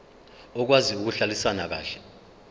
okwazi ukuhlalisana kahle